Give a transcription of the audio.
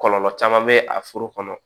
Kɔlɔlɔ caman bɛ a foro kɔnɔ